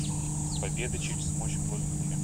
победа через мощь в воздухе